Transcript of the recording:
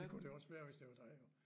Det kunne det også være hvis det var dig jo